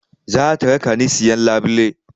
Za ta raka ni siyan labule